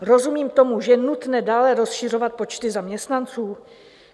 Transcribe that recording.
Rozumím tomu, že je nutné dále rozšiřovat počty zaměstnanců?